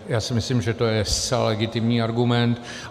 Já si myslím, že to je zcela legitimní argument.